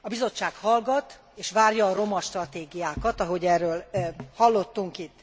A Bizottság hallgat és várja a romastratégiánkat, ahogy erről hallottunk itt,